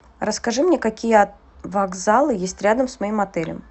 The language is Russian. расскажи мне какие вокзалы есть рядом с моим отелем